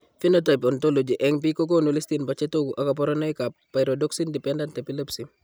Phenotype ontology eng' biik kokoonu listini bo chetogu ak kaborunoik ab pyrodoxine dependent epilepsy